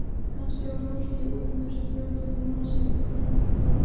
Kannski var fólkið í útlöndunum sem bjó til molasykurinn bara allt dáið.